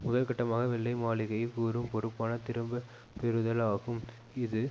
முதல்கட்டமாக வெள்ளை மாளிகை கூறும் பொறுப்பான திரும்ப பெறுதல் ஆகும் இது